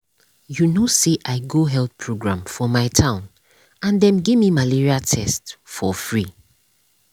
you know say i go health program for my town and dem gimme malaria test for free.